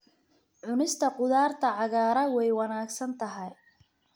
Cunista khudaarta cagaaran way wanaagsan tahay.